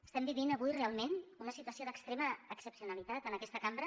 estem vivint avui realment una situació d’extrema excepcionalitat en aquesta cambra